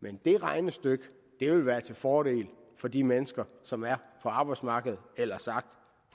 men det regnestykke vil være til fordel for de mennesker som er på arbejdsmarkedet eller sagt